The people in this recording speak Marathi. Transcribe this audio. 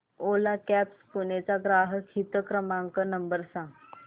ओला कॅब्झ पुणे चा ग्राहक हित क्रमांक नंबर सांगा